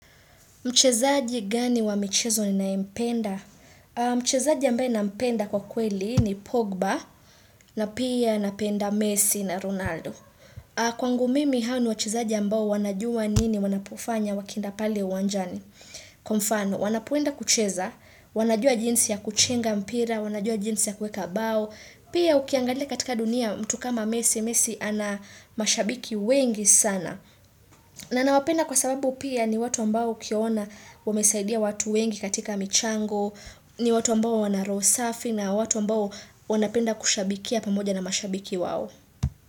Mchezaji gani wa michezo ninayempenda? Mchezaji ambaye nampenda kwa kweli ni Pogba na pia napenda Messi na Ronaldo. Kwangu mimi hao ni wachezaji ambao wanajua nini wanapofanya wakienda pale uwanjani. Kwa mfano, wanapoenda kucheza, wanajua jinsi ya kuchenga mpira, wanajua jinsi ya kueka bao Pia ukiangalia katika dunia mtu kama messi, messi ana mashabiki wengi sana na nawapenda kwa sababu pia ni watu ambao ukiona wamesaidia watu wengi katika michango ni watu ambao wana roho safi na watu ambao wanapenda kushabikia pamoja na mashabiki wao.